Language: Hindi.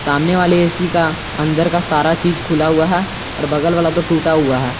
सामने वाले ए_सी का अंदर का सारा चीज खुला हुआ है और बगल वाला तो टूटा हुआ है।